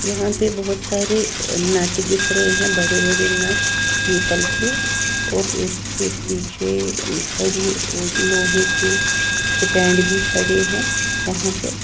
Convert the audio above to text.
यहां पे बहुत सारे नट दिख रहे हैं बड़े-बड़े नट पीतल के और उसके पीछे कड़ी लोहे की स्टैंड भी खड़े हैं वहां पे--